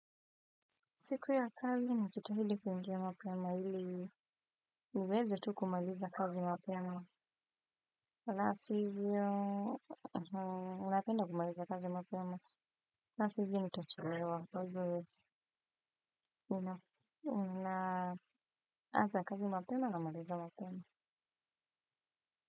Siku ya kazi najitahidi kuingia mapema, ili niweze tu kumaliza kazi mapema. La si hivyo, napenda kumaliza kazi mapema. La si hivyo, nitachelewa kwa hivyo ninaanza kazi mapema. Huwa namaliza mapema.